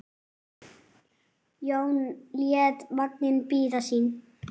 Jón lét vagninn bíða sín.